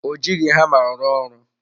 Ọ jighị hama rụọ ọrụ.